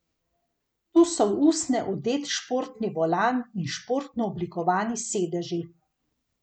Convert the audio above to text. Tu so v usnje odet športni volan in športno oblikovani sedeži.